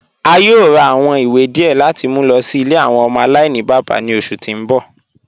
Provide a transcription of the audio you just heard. A yòò rà awọn ìwé díẹ̀ láti mú lọ sí ilẹ̀ awọn ọmọ alainibaba ní oṣù tí n bọ̀.